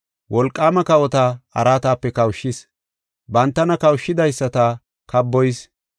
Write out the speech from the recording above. Wolqaama kawota araatape kawushis; bantana kawushidaysata kaaboyis.